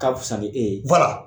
Ka fisa ni e ye